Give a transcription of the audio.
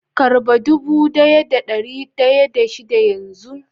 karba dubu daya da dari daya da shida yanzun.